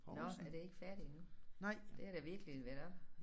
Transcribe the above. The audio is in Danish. Nåh er det ikke færdigt endnu? Det har da virkelig været oppe